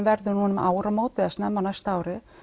verður núna um áramót eða snemma á næsta ári